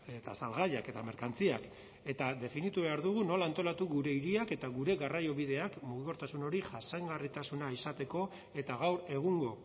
eta salgaiak eta merkantziak eta definitu behar dugu nola antolatu gure hiriak eta gure garraiobideak mugikortasun hori jasangarritasuna izateko eta gaur egungo